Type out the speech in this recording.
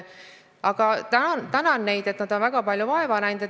Aga tänan neid, nad on väga palju vaeva näinud.